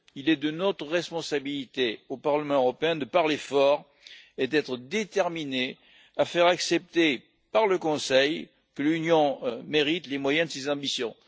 Il est de notre responsabilité, au Parlement européen, de parler fort et d'être déterminés à faire accepter par le Conseil que l'Union mérite les moyens de ses ambitions.